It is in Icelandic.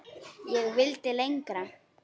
Ég vildi lengra.